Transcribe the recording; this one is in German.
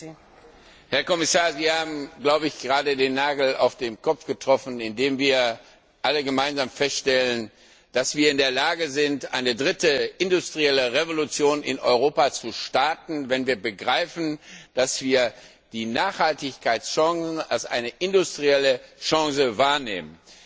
Frau Präsidentin! Herr Kommissar, Sie haben, glaube ich, gerade den Nagel auf den Kopf getroffen, indem wir alle gemeinsam feststellen, dass wir in der Lage sind, eine dritte industrielle Revolution in Europa zu starten, wenn wir begreifen, dass wir die Nachhaltigkeitschancen als eine industrielle Chance wahrnehmen.